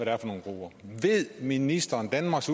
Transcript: er for nogle grupper ved ministeren danmarks